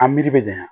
A miiri be janya